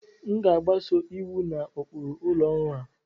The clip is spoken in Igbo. M ga-agbaso iwu na ụkpụrụ ụlọ ọrụ a